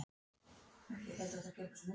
Svarið getur ekki vafist fyrir neinum.